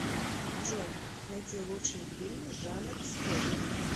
джой найти лучшие фильмы жанр спорт